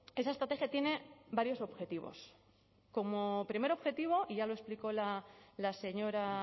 esa estrategia tiene varios objetivos como primer objetivo y ya lo explicó la señora